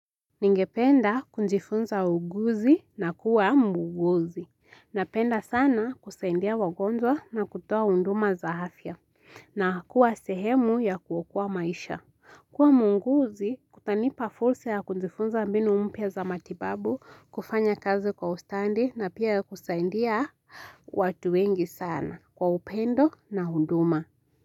Ningependa kujifunza uuguzi na kuwa muuguzi. Napenda sana kusaidia wagonjwa na kutoa huduma za afya na kuwa sehemu ya kuokoa maisha kuwa muuguzi kutanipa fursa ya kujifunza mbinu mpya za matibabu, kufanya kazi kwa ustadi na pia kusaidia watu wengi sana kwa upendo na huduma.